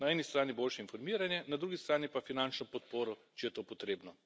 Na eni strani boljše informiranje, na drugi strani pa finančno podporo, če je to potrebno.